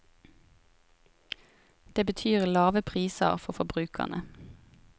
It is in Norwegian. Det betyr lave priser for forbrukerne.